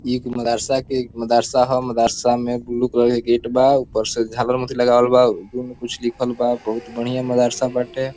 एक मदरसा के मदरसा ह मदरसा में ब्लू कलर के गेट बा उपर से झालर मोती लागल बा उपरो में कुछ लिखल बा बहुत बढ़िया मदरसा बाटे।